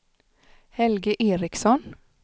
Helge Eriksson